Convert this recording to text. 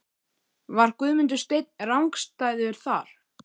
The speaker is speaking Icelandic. Var Guðmundur Steinn rangstæður þar?